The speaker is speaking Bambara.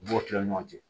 U b'o kilancɛ